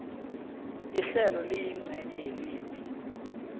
ihlelo liyincenye yelimi